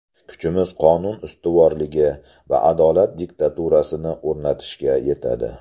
Kuchimiz qonun ustuvorligi va adolat diktaturasini o‘rnatishga yetadi.